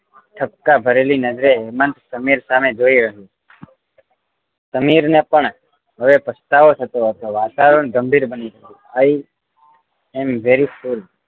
ઠપકા ભરી નજરે હેમંત સમીર સામે જોઈ રહ્યો સમીર ને પણ હવે પસ્તાવો થતો હતો વાતાવરણ ગંભીર બની ગયું હતું i am very full